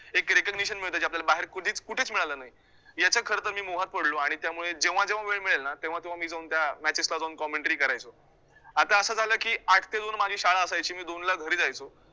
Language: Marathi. एक recognition मिळतं जे बाहेर आपल्याला कधीच कुठेच मिळालं नाही याचा खरं तर मी मोहात पडलो आणि त्यामुळे जेव्हा जेव्हा वेळ मिळेल ना तेव्हा तेव्हा मी जाऊन त्या matches ला जाऊन commentary करायचो आता असं झालं की आठ ते दोन माझी शाळा असायची मी दोनला घरी जायचो.